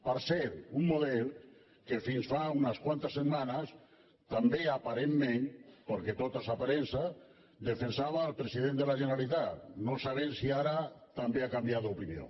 per cert un model que fins fa unes quantes setmanes també aparentment perquè tot és aparença defensava el president de la generalitat no sabem si ara també ha canviat d’opinió